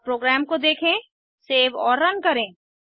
अब प्रोग्राम को देखें सेव और रन करें